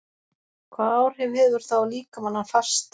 Hvaða áhrif hefur það á líkamann að fasta?